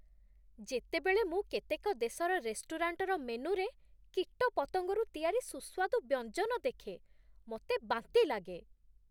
ଯେତେବେଳେ ମୁଁ କେତେକ ଦେଶର ରେଷ୍ଟୁରାଣ୍ଟର ମେନୁରେ କୀଟପତଙ୍ଗରୁ ତିଆରି ସୁସ୍ୱାଦୁ ବ୍ୟଞ୍ଜନ ଦେଖେ, ମୋତେ ବାନ୍ତି ଲାଗେ